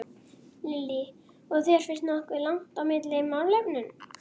Lillý: Og þér finnst nokkuð langt á milli í málefnunum?